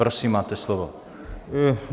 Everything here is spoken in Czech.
Prosím, máte slovo.